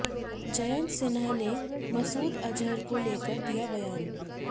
जयंत सिन्हा ने मसूद अजहर को लेकर दिया बयान